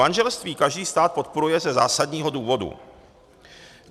Manželství každý stát podporuje ze zásadního důvodu.